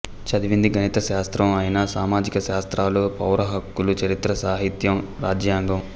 చదివింది గణితశాస్త్రం అయినా సామాజిక శాస్త్రాలు పౌరహక్కులు చరిత్ర సాహిత్యం రాజ్యాంగం